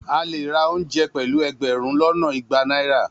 A le ra ounje pelu egberun lona igba naira.